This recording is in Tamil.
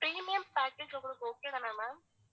premium package உங்களுக்கு okay தான ma'am